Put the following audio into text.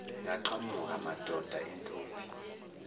yaqhamuka madoda intombi